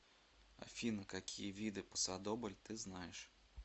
афина какие виды пасодобль ты знаешь